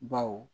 Baw